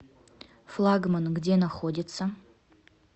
флагман где находится